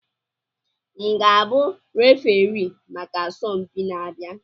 M ga-abụ referii maka asọmpi na-abịa?